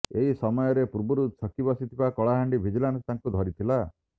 ଏହି ସମୟରେ ପୂର୍ବରୁ ଛକି ବସିଥିବା କଳାହାଣ୍ଡି ଭିଜିଲାନ୍ସ ତାଙ୍କୁ ଧରିଥିଲା